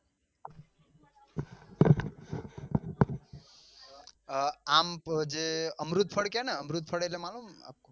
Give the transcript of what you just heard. અ આમ જે અમૃદ ફળ કે ને અમૃદ ફળ એટલે માલુમ છે ને આપકો